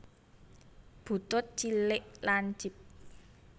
Butut cilik lancip